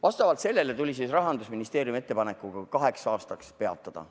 Vastavalt sellele tuli Rahandusministeerium ettepanekuga see kaheks aastaks peatada.